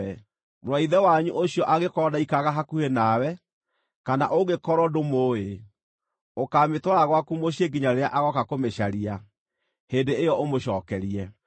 Mũrũ wa ithe wanyu ũcio angĩkorwo ndaikaraga hakuhĩ nawe, kana ũngĩkorwo ndũmũĩ, ũkaamĩtwara gwaku mũciĩ nginya rĩrĩa agooka kũmĩcaria; hĩndĩ ĩyo ũmũcookerie.